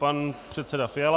Pan předseda Fiala.